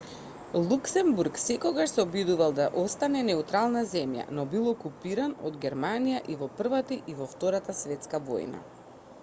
луксембург секогаш се обидувал да остане неутрална земја но бил окупиран од германија и во првата и во втората светска војна